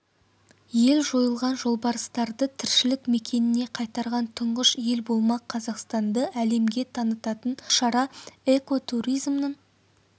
ел жойылған жолбарыстарды тіршілік мекеніне қайтарған тұңғыш ел болмақ қазақстанды әлемге танытатын бұл шара экотуризмнің